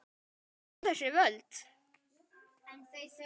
Hvaðan koma þessi völd?